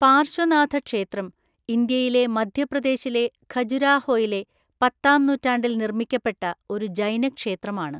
പാർശ്വനാഥക്ഷേത്രം ഇന്ത്യയിലെ മധ്യപ്രദേശിലെ ഖജുരാഹോയിലെ പത്താംനൂറ്റാണ്ടിൽ നിർമ്മിക്കപ്പെട്ട ഒരു ജൈനക്ഷേത്രമാണ്.